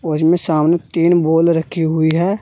और इसमें सामने तीन बॉल रखी हुई है।